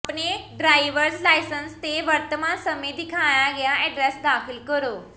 ਆਪਣੇ driver's licence ਤੇ ਵਰਤਮਾਨ ਸਮੇਂ ਦਿਖਾਇਆ ਗਿਆ ਐਡਰੈੱਸ ਦਾਖਲ ਕਰੋ